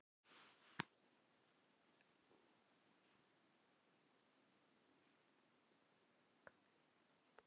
Svo fór hann að reyna að yfirgnæfa þá.